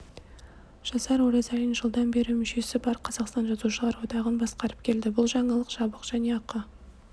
жасар оразалин жылдан бері мүшесі бар қазақстан жазушылар одағын басқарып келді бұл жаңалық жабық және ақы